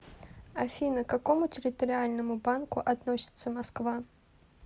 афина к какому территориальному банку относится москва